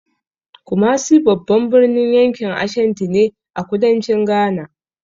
Kumasi babban birnin yankin Ashanti ne, a kudancin Ghana.